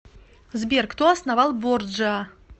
сбер кто основал борджиа